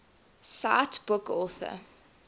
cite book author